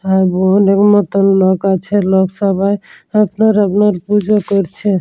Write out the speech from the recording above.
আর অনেক মত লোক আছে লোক সভায়। আপনার আপনার পুজো করছে।